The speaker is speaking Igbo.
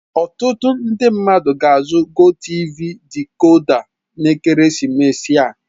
Ọtụtụ ndị mmadụ ga-azụ GOTV dikoda n'ekeresimesi a.